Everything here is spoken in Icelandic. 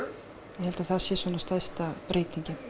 ég held að það sé stærsta breytingin